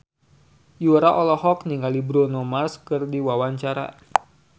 Yura olohok ningali Bruno Mars keur diwawancara